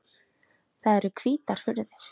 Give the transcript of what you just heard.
Það eru hvítar hurðir.